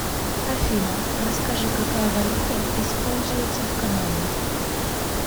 афина расскажи какая валюта используется в канаде